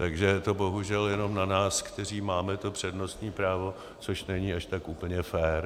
Takže je to bohužel jenom na nás, kteří máme to přednostní právo, což není až tak úplně fér.